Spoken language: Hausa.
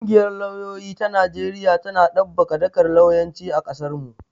Ƙungiyar lauyoyi ta Najeriya tana ɗabbaƙa dakar lauyanci a ƙasarmu.